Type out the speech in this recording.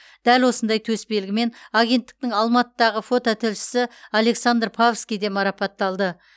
дәл осындай төсбелгімен агенттіктің алматыдағы фототілшісі александр павский де марапатталды